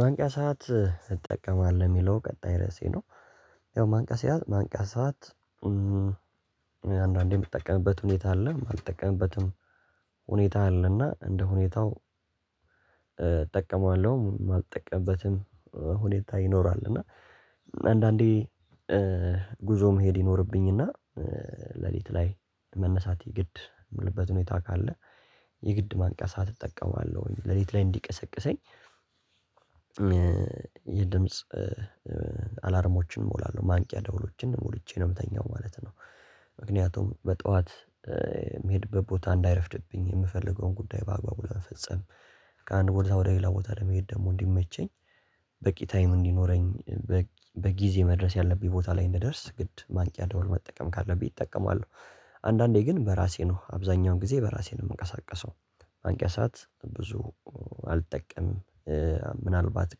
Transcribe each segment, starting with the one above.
ማንቂያ ሰዓት እጠቀማለህ የሚለው ቀጣይ ርዕሴ ነው። ያው ማንቂያ ሰዓት ማንቂያ ሰዓት። አንዳንዴ የምጠቀምበት ሁኔታ አለ፤ አልጠቀምበትም። ሁኔታ አለ እና እንደ ሁኔታው። እጠቀመዋለሁ፣ የማልጠቀምበትም ሁኔታ ይኖራል፤ እና አንዳንዴ ጉዞ መሄድ ይኖርብኝ እና ሌሊት ላይ መነሳት የግድ የምልበት ሁኔታ ካለ ይግድ ማንቂያ ሰዓት እጠቀማለሁኝ ሌሊት ላይ እንዲቀሰቅሰኝ። የድምጽ አላርሞችን እሞላለሁ ማንቂያ ደውሎችን ሞልቼ ነው የምተኛው ማለት ነው። ምክንያቱም በጠዋት የምሄድበት ቦታ እንዳይረፍደብኝ የምፈልገውን ጉዳይ በአግባቡ ለመፈጸም። ከአንድ ቦታ ወደ ሌላ ቦታ ደግሞ እንዲመቸኝ። በቂ ታይም እንዲኖረኝ በ በጊዜ መድረስ ያለብኝ ቦታ ላይ እንድደርስ ግድ ማንቂያ ደውል መጠቀም ካለብኝ ይጠቀማሉ። አንዳንዴ ግን በራሴ ነው፤ አብዛኛውን ጊዜ በራሴ ነው የምንቀሳቀሰው። ማንቂያ ሰዓት ብዙ አልጠቀምም፤ ምናልባት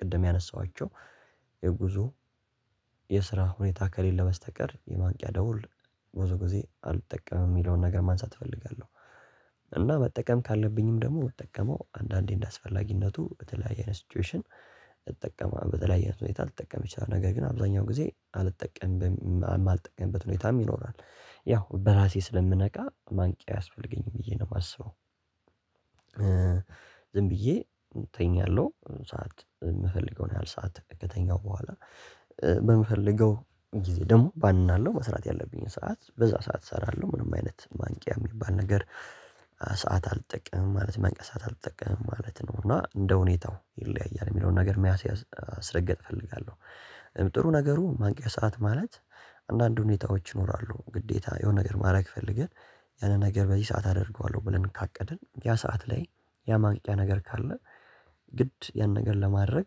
ቅድም ያነሳኋቸው የጉዞ፣ የስራ ሁኔታ ከሌለ በስተቀር የማንቂያ ደውል ብዙ ጊዜ አልጠቀምም የሚለውን ነገር ማንሳት እፈልጋለሁ። እና መጠቀም ካለብኝም ደግሞ የምትጠቀመው አንዳንዴ እንደአስፈላጊነቱ በተለያየ ሲቹዌሽን እጠቀማ በተለያየ ሁኔታ ልጠቀም እችላለሁ። ነገር ግን አብዛኛው ጊዜ አልጠቀምበ የማልጠቀምበትም ሁኔታም ይኖራል ያው በራሴ ስለምነቃ ማንቂያ አያስፈልገኝም ብዬ ነው የማስበው። ዝም ብዬ እተኛለሁ ሰዓት የምፈልገውን ያህል ሰዓት ከተኛሁ በኋላ። በምፈልገው ጊዜ ደግሞ ባንናለው መስራት ያለብኝን ሰዓት በዛ ሰዓት እሰራለሁ። ምንም አይነት ማንቂያ የሚባል ነገር ሰዓት አልጠቀምም ማለት መንቀሳት አልጠቀምም ማለት ነው። እና እንደሁኔታው ይለያያል የሚለውን ነገር መያዝ አስረግጥ እፈልጋለሁ። ጥሩ ነገሩ ማንቂያ ሰዓት ማለት አንዳንድ ሁኔታዎች ይኖራሉ ግዴታ የሆነ ነገር ማድረግ ፈልገን ያንን ነገር በዚህ ሰዓት አደርገዋለሁ ብለን ካቀድን ያ ሰዓት ላይ ያማንቂያ ነገር ካለ ግድ ያን ነገር ለማድረግ።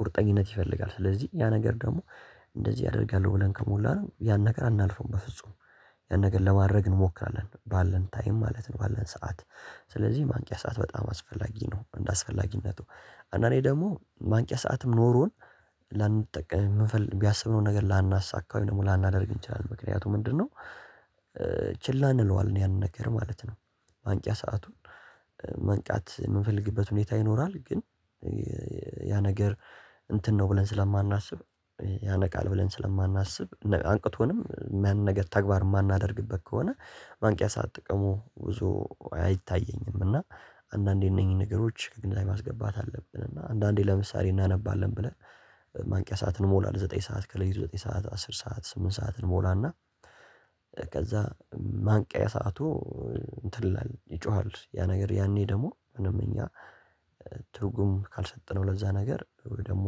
ቁርጠኝነት ይፈልጋል ስለዚህ ያ ነገር ደግሞ እንደዚህ አደርጋለሁ ብለን ከሞላን ያን ነገር አናልፈውም በፍጹም። ያን ነገር ለማድረግ እንሞክራለን ባለን ታይም ማለት ነው ባለን ሰዓት። ስለዚህ ማንቂያ ሰዓት በጣም አስፈላጊ ነው እንደ አስፈላጊነቱ አንዳንዴ ደግሞ ማንቂያ ሰዓትም ኖሮን ላንጠቀም የምንፈልግ ቢያስብነውን ነገር ላናሳካው ደግሞ ላናደርግ እንችላለን። ምክንያቱም ምንድነው? እንለዋለን ያንን ነገር ማለት ነው። ማንቂያ ሰአቱን መንቃት የምንፈልግበት ሁኔታ ይኖራል ግን ያ ነገር እንትን ነው ብለን ስለማናስብ ያነቃል ብለን ስለማናስብ አንቅቶንም ማን ነገር ተግባር የማናደርግበት ከሆነ ማንቂያ ሰዓት ጥቅሙ ብዙ አይታየኝም። እና አንዳንዴ እነኚህን ነገሮች ግን እንደዛ ማስገባት አለብን እና አንዳንዴ ለምሳሌ እናነባለን ብለን። ማንቂያ ሰዓትን እንሞላለን ዘጠኝ ሰዓት ከሌሊቱ ዘጠኝ ሰዓት አስር ሰዓት ስምንት ሰዓትን እንሞላና። ከዛ ማንቂያ ሰዓቱ እንትን ይላል ይጮሃል ያ ነገር ያኔ ደግሞ ምንም እኛ ትርጉም ካልሰጠነው ለዛ ነገር ወይ ደግሞ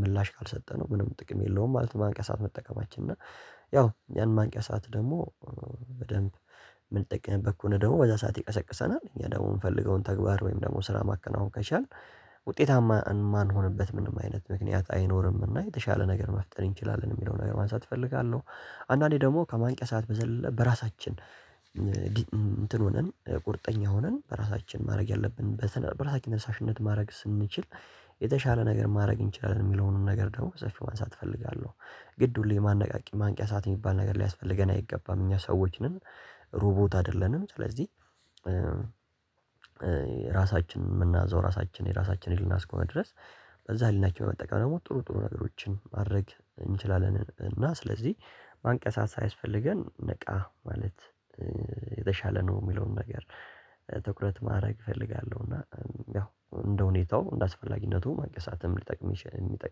ምላሽ ካልሰጠነው ምንም ጥቅም የለውም። ማለት ማንቂያ ሰዓት መጠቀማችን ነው ያው ያን ማንቂያ ሰዓት ደግሞ በደምብ የምንጠቀም በኩል ደግሞ ወዛ ሰዓት ይቀሰቅሰናል ያ የምፈልገውን ተግባር ወይም ደግሞ ስራ ማከናወን ከቻልን ውጤታማ የማንሆንበት ምንም አይነት ምክንያት አይኖርም እና የተሻለ ነገር መፍጠር እንችላለን የሚለውን ነገር ማንሳት እፈልጋለሁ። አንዳንዴ ደግሞ ከማንቂያ ሰዓት በዘለለ በራሳችን እንትን ሆነን ቁርጠኛ ሆነን በራሳችን ማድረግ ያለብን በራሳችን ተነሳሽነት ማድረግ ስንችል የተሻለ ነገር ማድረግ እንችላለን የሚለውን ነገር ደግሞ ሰፊውን ማንሳት እፈልጋለሁ። ግድ ሁሌ ማነቃቅ ማንቂያ ሰዓት የሚባል ነገር ሊያስፈልገን አይገባም እኛ ሰዎች ነን። ሮቦት አይደለንም። ስለዚህ ራሳችን የምናዘው ራሳችን የራሳችንን እስከ ሆነ ድረስ በዛ ህሊናቸውን በመጠቀም ደግሞ ጥሩ ጥሩ ነገሮችን ማድረግ እንችላለን። እና ስለዚህ ማንቀሳሳ አስፈልገን ነቃ ማለት የተሻለ ነው የሚለውን ነገር ትኩረት ማድረግ እፈልጋለሁ። እና ያው እንደሁኔታው እንደአስፈላጊነቱ ማቅሳትም ልጠቅመሽ የምጠቅ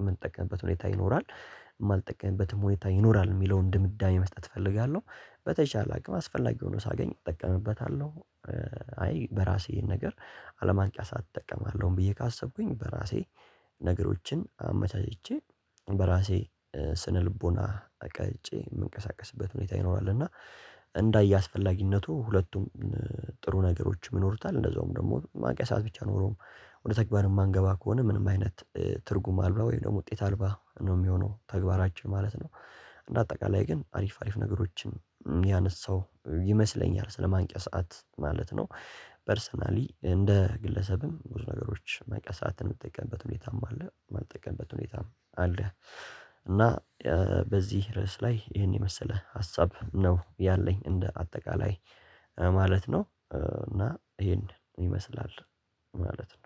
የምንጠቀምበት ሁኔታ ይኖራል። የማልጠቀምበትም ሁኔታ ይኖራል የሚለውን ድምዳሜ መስጠት እፈልጋለሁ። በተቻለ አቅም አስፈላጊ ሆኖ ሳገኝ እጠቀምበታለሁ። አይ በራሴ ይሄን ነገር አለማንቂያ ሰዓት እጠቀማለሁኝ ብዬ ካሰብኩኝ በራሴ ነገሮችን አመቻችቼ በራሴ ስነልቦና አቅጬ የምንቀሳቀስበት ሁኔታ ይኖራል። እና እንዳየ አስፈላጊነቱ ሁለቱም ጥሩ ነገሮች ይኖሩታል እንደዛውም ደግሞ ማንቂያ ሰዓት ብቻ ኖሮም ወደ ተግባር የማንገባ ከሆነ ምንም አይነት ትርጉም አልባ ወይም ደግሞ ውጤት አልባ ነው የሚሆነው ተግባራችን ማለት ነው። እንደ አጠቃላይ ግን አሪፍ አሪፍ ነገሮችን ያነሳው ይመስለኛል ስለማንቂያ ሰዓት ማለት ነው። ፐርሰናሊ እንደ ግለሰብም ብዙ ነገሮች መቀሰትን የምትጠቀምበት ሁኔታም አለ የማልጠቀምበት ሁኔታም አለ። እና በዚህ ርዕስ ላይ ይሄን የመሰለ ሀሳብ ነው ያለኝ እንደ አጠቃላይ ማለት ነው። እና ይሄን ይመስላል ማለት ነው